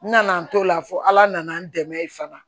N nana n t'o la fo ala nana n dɛmɛ fana